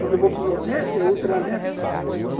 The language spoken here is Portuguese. Quando eu vou para o Nordeste, é ultra leve.